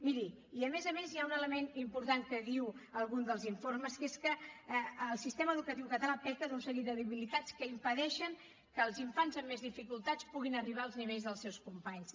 miri i a més a més hi ha un element important que diu algun dels informes que és que el sistema educatiu català peca d’un seguit de debilitats que impedeixen que els infants amb més dificultats puguin arribar als nivells dels seus companys